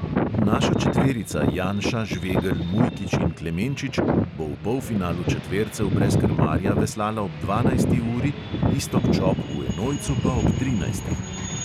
Naša četverica janša, žvegelj, mujkič in klemenčič bo v polfinalu četvercev brez krmarja veslala ob dvanajsti uri, iztok čop v enojcu pa ob trinajsti.